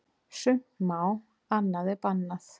Sumt má, annað er bannað.